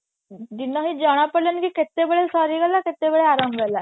କେତେବେଳେ ସରିଗଲା କେତେବେଳେ ଆରମ୍ଭ ହେଲା